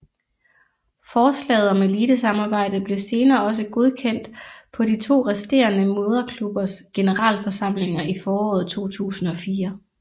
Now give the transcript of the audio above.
Forslaget om elitesamarbejdet blev senere også godkendt på de to resterende moderklubbers generalforsamlinger i foråret 2004